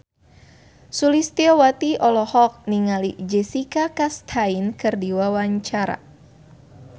Sulistyowati olohok ningali Jessica Chastain keur diwawancara